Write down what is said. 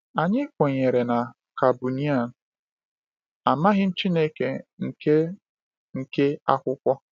Anyị kwenyere na Kabunian, amaghị m Chineke nke nke akwụkwọ.